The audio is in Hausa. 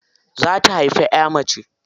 Za ta haifi ƴa mace.